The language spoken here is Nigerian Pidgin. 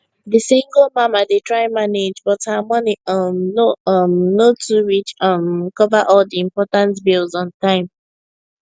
the single mama dey try manage but her money um no um no too reach um cover all the important bills on time